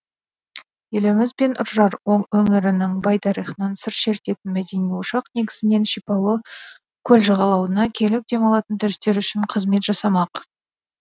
еліміз бен үржар өңірінің бай тарихынан сыр шертетін мәдени ошақ негізінен шипалы көл жағалауына келіп демалатын туристер үшін қызмет жасамақ